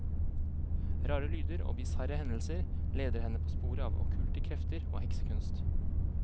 Rare lyder og bisarre hendelser leder henne på sporet av okkulte krefter og heksekunst.